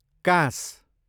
काँस